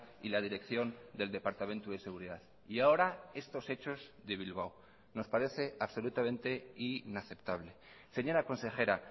y la dirección del departamento de seguridad y ahora estos hechos de bilbao nos parece absolutamente inaceptable señora consejera